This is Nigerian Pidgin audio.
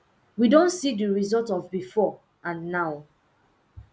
we don see the result of before and now